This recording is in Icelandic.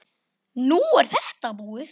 Nú er þetta búið.